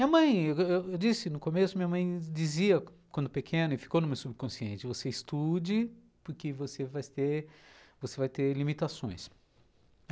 Minha mãe, eu disse no começo, minha mãe dizia quando pequeno e ficou no meu subconsciente, você estude porque você vai ter você vai ter limitações.